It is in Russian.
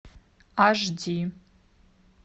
аш ди